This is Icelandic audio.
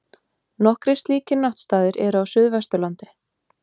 Nokkrir slíkir náttstaðir eru á Suðvesturlandi.